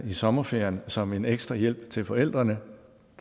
i sommerferien som en ekstra hjælp til forældrene